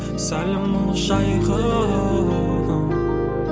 сәлем ұлы жайығым